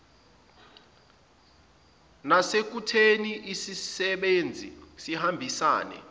nasekutheni isisebenzi sihambisane